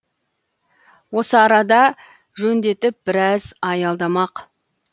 осы арада жөндетіп біраз аялдамақ